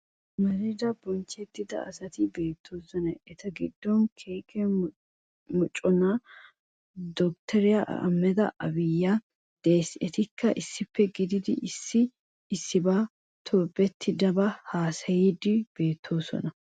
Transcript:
Amarida bonchettida asati beettoosona. Eta giddon kiike moconaa dottoriya Ahmeda aabikka de'es etikka issippe kididi issi issibaa tobettiiddinne haasayiiddi beettoosona.